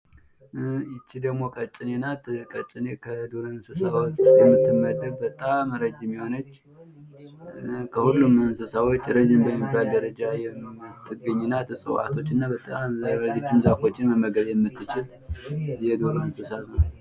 ይቺ ደግሞ ቀጭኔ ናት ቀጭኔ ከዱር እንስሳዎች ውስጥ የምትመደብ በጣም ረጅም የሆነች ከሁሉም እንስሳዎች ረጅም በሚባል ደረጃ የምትገኝ ናት እፅዋቶች እና በጣም ረጅም ዛፎች መመገብ የምትችል የዱር እንስሳት ናት ።